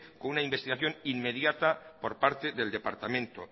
con una investigación inmediata por parte del departamento